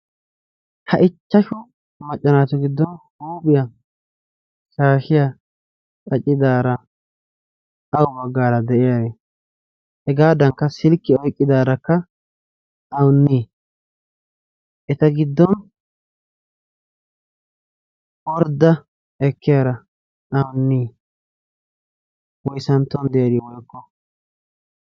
Ha ichchashu macca naatu giddon huuphiya shaashiya qacidaara awu baggaara de'ay? Hegaadankka silkkiya oyqqidaarakka awunnii? eta giddon ordda ekkiyara awunnii? woysanttuwan diyarii woykko?